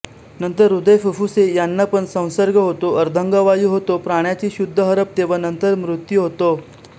नंतर हृदय फुफ्फुसे यांनापण संसर्ग होतो अर्धांगवायु होतो प्राण्याची शुद्ध हरपते व नंतर मृत्यू होतो